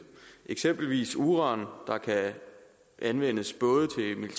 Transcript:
eksempelvis uran der kan anvendes både